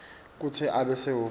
kutsi abe sehhovisi